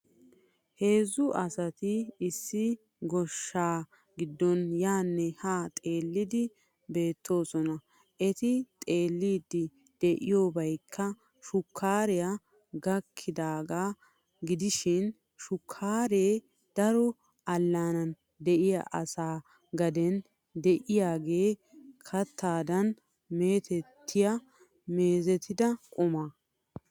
Heezzu asati issi goshshaa giddon yaanne haa xeellidi beettoosona. Eti xeelliddi diyobaykka shukkaaree gakkidaagaa gidishin shukkaaree daro allaanan de'iya asaa gaden de'iyagee kattadan meetettiya meezetida quma.